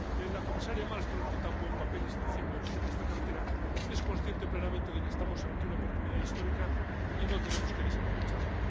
La comisaria Malmström, que tan buen papel está haciendo en esta cartera, es consciente plenamente de que estamos ante una oportunidad histórica y no tenemos que desaprovecharla.